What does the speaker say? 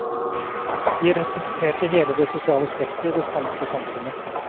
De representerte hele det sosiale spekteret i det spanske samfunnet.